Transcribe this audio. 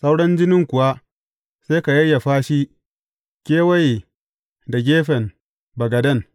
Sauran jinin kuwa, sai ka yayyafa shi kewaye da gefen bagaden.